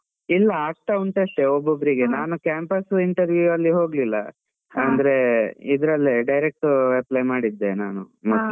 ಇಲ್ಲ ಆಗ್ತಾ ಉಂಟು ಅಷ್ಟೆ ಒಬ್ಬೊಬ್ಬರಿಗೆ, ನಾನು campus interview ಅಲ್ಲಿ ಹೋಗ್ಲಿಲ್ಲ, ಅಂದ್ರೆ, ಇದ್ರಲ್ಲೇ direct apply ಮಾಡಿದ್ದೆ ನಾನು ಮೊದ್ಲೇ.